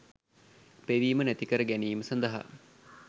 පෙවීම නැතිකර ගැනීම සඳහා